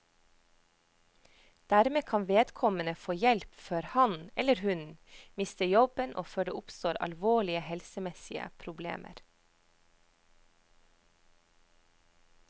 Dermed kan vedkommende få hjelp før han, eller hun, mister jobben og før det oppstår alvorlige helsemessige problemer.